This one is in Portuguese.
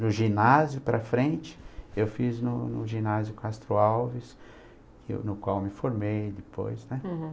No ginásio para frente, eu fiz no no ginásio Castro Alves, que eu, no qual me formei depois, né? uhum.